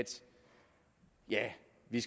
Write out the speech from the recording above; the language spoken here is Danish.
vi